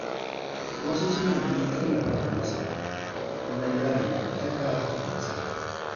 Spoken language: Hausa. Wasu suna neman tallafawar masana wajen gyara dangantaka mai matsala.